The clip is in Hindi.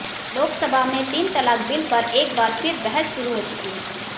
लोक सभा में तीन तलाक बिल पर एक बार फिर बहस शुरू हो चुकी है